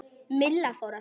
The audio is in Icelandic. Milla fór að hlæja.